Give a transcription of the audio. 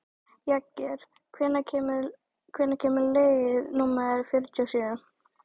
Jagger, hvenær kemur leið númer fjörutíu og sjö?